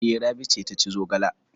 E, Rabi ce ta ci zogala.